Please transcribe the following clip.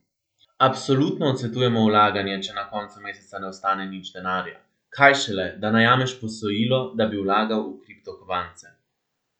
Absolutno odsvetujemo vlaganje, če na koncu meseca ne ostane nič denarja, kaj šele, da najameš posojilo, da bi vlagal v kriptokovance.